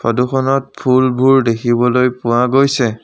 ফটোখনত ফুলবোৰ দেখিবলৈ পোৱা গৈছে।